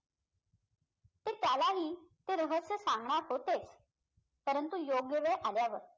ते त्यालाही ते रहस्य सांगणार होते परंतु योग्य वेळ आल्यावर